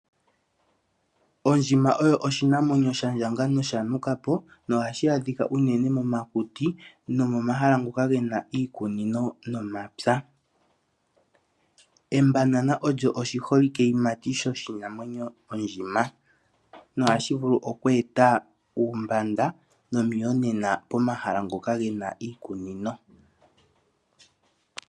Ondjima oyo oshinamwenyo sha ndjanga nosha nukapo no ha shi adhika unene momakuti, nomomahala ngoka gena iikunino yomapya. Empanada olyo oshi holike yimati lyoshinamwenyo ondjima. Noha shi vulu okweeta uumbanda nomuyonena pomahala ngoka gena iikunino.